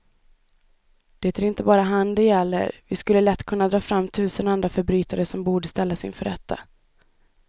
Det är inte bara han det gäller, vi skulle lätt kunna dra fram tusen andra förbrytare som borde ställas inför rätta.